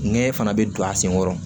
Nɛgɛn fana bɛ don a sen kɔrɔ